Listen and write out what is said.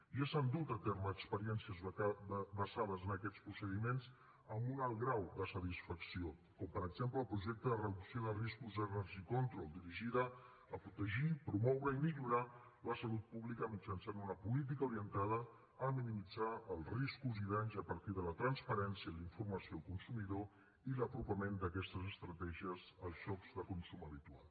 ja s’han dut a terme experiències basades en aquests procediments amb un alt grau de satisfacció com per exemple el projecte de reducció de riscos energy control dirigida a protegir promoure i millorar la salut pública mitjançant una política orientada a minimitzar els riscos i danys a partir de la transparència i la informació al consumidor i l’apropament d’aquestes estratègies als llocs de consum habitual